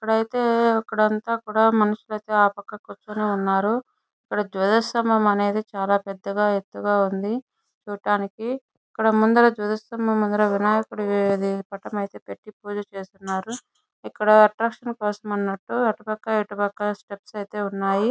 అక్కడతే ఇక్కడ అంతా కూడా మనుషుల అయితే ఆపక్క కూర్చుని ఉన్నారు ఇక్కడ ధ్వజస్తంభం అనేది చాలా పెద్దగా ఎత్తుగా ఉంది చూడ్డానికి ఇక్కడ ముందర ధ్వజస్తంభం ముందర వినాయకుడి ఇది పటం అయితే పెట్టి పూజ చేస్తున్నారు ఇక్కడ అట్రాక్షన్ కోసమనట్టు అటుపక్క ఇటుపక్క స్టెప్స్ అయితే ఉన్నాయి.